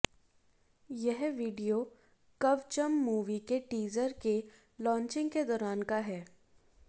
यह video Kavacham movie के teaser के लॉचिंग के दौरान का है